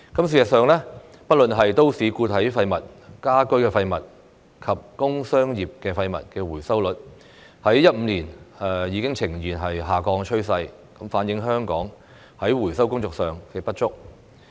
事實上，不論是都市固體廢物、家居廢物及工商業廢物的回收率，自2015年已呈現下降趨勢，反映香港在回收工作上的不足。